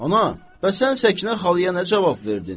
Ana, bəs sən Səkinə xalaya nə cavab verdin?